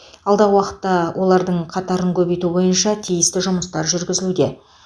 алдағы уақытта олардың қатарын көбейту бойынша тиісті жұмыстар жүргізілуде